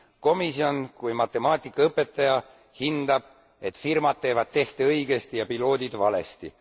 Komisjon kui matemaatikaõpetaja hindab, et firmad teevad tehte õigesti ja piloodid valesti.